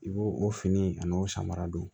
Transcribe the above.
I b'o o fini a n'o samara don